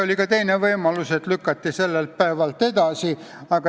Oli ka teine võimalus, et otsustamine lükati sellelt päevalt edasi.